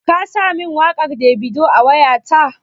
Ka sa min waƙar Davido a wayata?